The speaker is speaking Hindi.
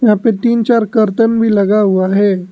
यहा पे तीन चार कर्तन भी लगा हुआ है।